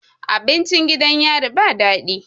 Abincin gidan yari ba dadi